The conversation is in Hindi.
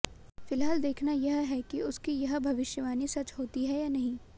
फिलहाल देखना यह है कि उसकी यह भविष्यवाणी सच होती है या नहीं